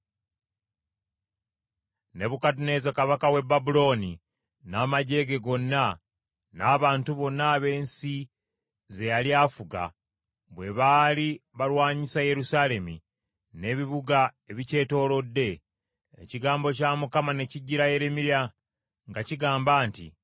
Nebukadduneeza kabaka w’e Babulooni n’amaggye ge gonna, n’abantu bonna ab’ensi ze yali afuga bwe baali balwanyisa Yerusaalemi n’ebibuga ebikyetoolodde, ekigambo kya Mukama ne kijjira Yeremiya nga kigamba nti,